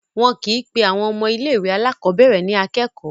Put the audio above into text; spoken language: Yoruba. Wọn kì í pe àwọn ọmọ ilé-ìwé alákọ̀ọ́bẹ̀rẹ̀ ní akẹ́kọ̀ọ́.